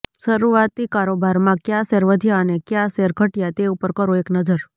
શરૂઆતી કારોબારમાં કયા શેર વધ્યા અને કયા શેર ઘટ્યા તે ઉપર કરો એક નજર